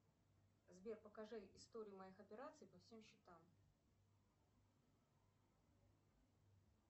сбер покажи историю моих операций по всем счетам